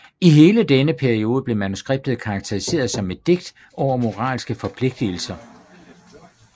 I hele denne periode blev manuskriptet karakteriseret som et digt over moralske forpligtelser